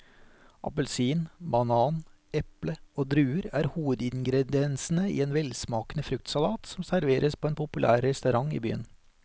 Appelsin, banan, eple og druer er hovedingredienser i en velsmakende fruktsalat som serveres på en populær restaurant i byen.